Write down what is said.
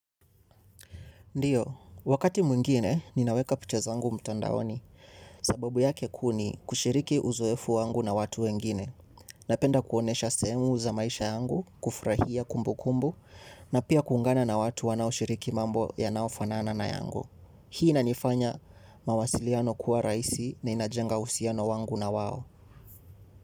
Ndiyo, wakati mwingine ninaweka picha zangu mtandaoni, sababu yake kuu ni kushiriki uzoefu wangu na watu wengine. Napenda kuonyesha sehemu za maisha yangu kufurahia kumbukumbu na pia kuungana na watu wanaoshiriki mambo yanayofanana na yangu. Hii inanifanya mawasiliano kuwa rahisi na inajenga uhusiano wangu na wao.